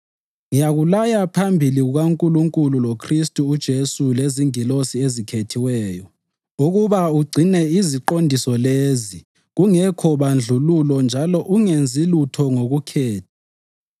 Ngiyakulaya phambi kukaNkulunkulu loKhristu uJesu lezingilosi ezikhethiweyo ukuba ugcine iziqondiso lezi kungekho bandlululo njalo ungenzi lutho ngokukhetha.